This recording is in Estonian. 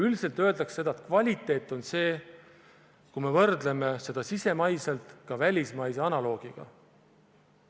Üldiselt öeldakse seda, et kvaliteet on siis, kui me võrdleme sisemaiselt ja ka välismaise analoogiga.